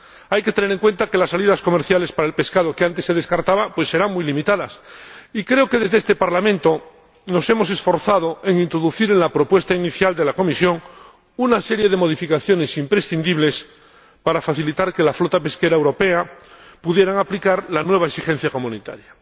Hay que tener en cuenta que las salidas comerciales para el pescado que antes se descartaba serán muy limitadas y creo que desde este Parlamento nos hemos esforzado por introducir en la propuesta inicial de la Comisión una serie de modificaciones imprescindibles para facilitar que la flota pesquera europea pudiera aplicar la nueva exigencia comunitaria.